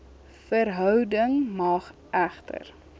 verhouding mag egter